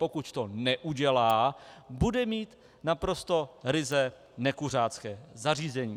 Pokud to neudělá, bude mít naprosto ryze nekuřácké zařízení.